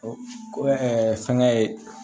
Ko fɛnkɛ ye